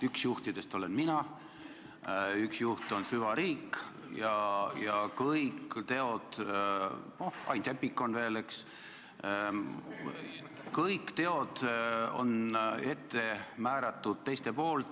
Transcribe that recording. Üks juhtidest olen mina, üks juhtidest on süvariik ja kõik teod – Ain Seppik on ka veel, eks – on ette määratud teiste poolt.